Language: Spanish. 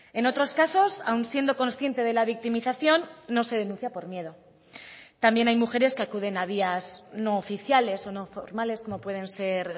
en otros casos aun siendo consciente de la victimización no se denuncia por miedo también hay mujeres que acuden a vías no oficiales o no formales como pueden ser